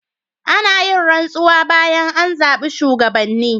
Ana yin rantsuwa bayan an zabi shugabanni.